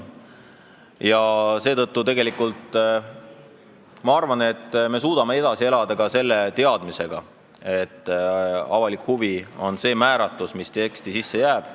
Seetõttu ma arvan, et me suudame edasi elada ka selle teadmisega, et "avalik huvi" on see määratlus, mis teksti sisse jääb.